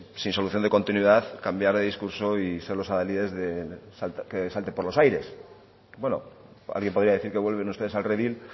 sin solución de continuidad cambiar de discurso y ser los aladies de que salte por los aires bueno alguien podría decir que vuelven ustedes al redil